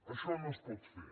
això no es pot fer